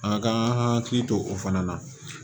A ka hakili to o fana na